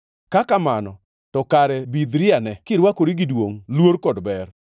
Ka kamano, to kare bidhriane, kirwakori gi duongʼ, luor kod ber.